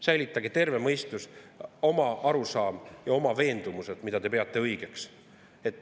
Säilitage terve mõistus, oma arusaam ja oma veendumused, need, mida te peate õigeks.